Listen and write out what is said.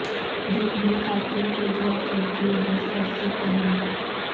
دل بھی قاتل کو دیا کرتے ہیں سر سے پہلے